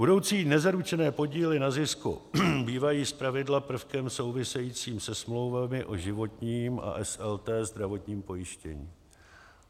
Budoucí nezaručené podíly na zisku bývají zpravidla prvkem souvisejícím se smlouvami o životním a SLT zdravotním pojištění.